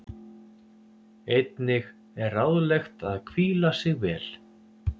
Einnig er ráðlegt að hvíla sig vel.